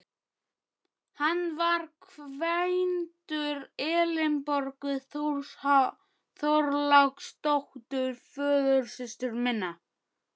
Hann var kvæntur Elínborgu Þorláksdóttur, föðursystur minni.